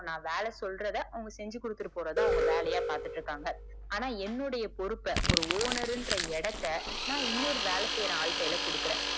so நா வேல சொல்றத அவங்க செஞ்சிகொடுத்துட்டு போரததா அவங்க வேலையா பாத்துட்டு இருக்காங்க. ஆனா, என்னுடைய போருப்ப ஒரு owner ன்ற இடத்த நா இன்னொரு வேல செய்யற ஆளு கையில கொடுக்கற